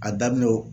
A daminɛ o